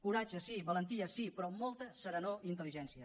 coratge sí valentia sí però molta serenor i intel·ligència